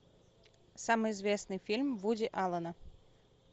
самый известный фильм вуди аллена